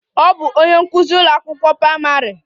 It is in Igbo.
Ọ bụ onye nkụzi n'ụlọ akwụkwọ praịmarị.